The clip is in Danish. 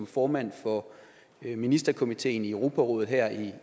formand for ministerkomiteen i europarådet her